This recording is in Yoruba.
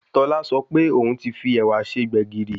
Tọ́lá sọ pé òún ti fi ẹ̀wà se gbẹ̀gìrì